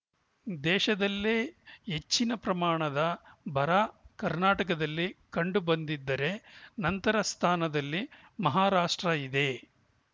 ದೇಶದಲ್ಲೇ ಹೆಚ್ಚಿನ ಪ್ರಮಾಣದ ಬರ ಕರ್ನಾಟಕದಲ್ಲಿ ಕಂಡುಬಂದಿದ್ದರೆ ನಂತರ ಸ್ಥಾನದಲ್ಲಿ ಮಹಾರಾಷ್ಟ್ರ ಇದೆ